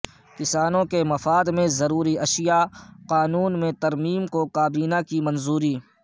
کسانوں کے مفاد میں ضروری اشیاء قانون میں ترمیم کو کابینہ کی منظوری